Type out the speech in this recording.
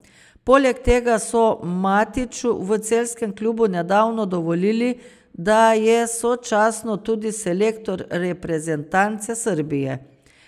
Poleg tega so Matiću v celjskem klubu nedavno dovolili, da je sočasno tudi selektor reprezentance Srbije.